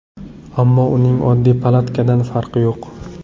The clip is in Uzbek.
Ammo uning oddiy palatkadan farqi yo‘q.